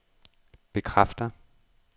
bekræfter